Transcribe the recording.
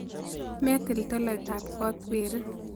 Metil toloitoab kot weri.